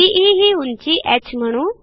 be ही उंची ह म्हणू